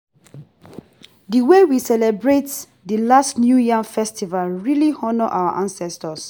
di wey we celebrate di last new yam festival really honour our ancestors